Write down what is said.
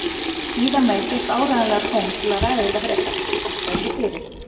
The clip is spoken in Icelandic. Síðar meir gefst áreiðanlega tóm til að ræða þetta frekar, þakka ykkur fyrir.